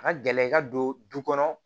A ka gɛlɛn i ka don du kɔnɔ